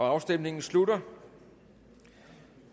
afstemningen slutter